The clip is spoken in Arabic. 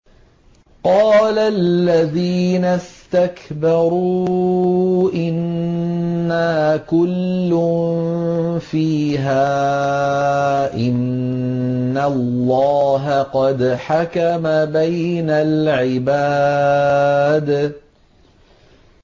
قَالَ الَّذِينَ اسْتَكْبَرُوا إِنَّا كُلٌّ فِيهَا إِنَّ اللَّهَ قَدْ حَكَمَ بَيْنَ الْعِبَادِ